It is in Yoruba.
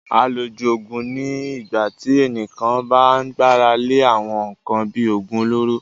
Àlòjù Òògùn ni ìgbà tí ẹnìkan bá gbára lé àwọn nkan bíi oògùn olóró